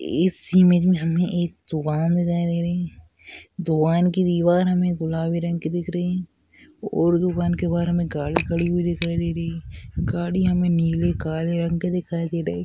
इस इमेज मे हमे दुकान दिखाई दे रही है दुकान की दीवार हमे गुलाबी रंग की दिख रही है और दुकान के बाहर मे गाड़ी खड़ी हुई दिखाई दे रही है गाड़ी हमे नीले काले रंग की दिखाई दे रही है।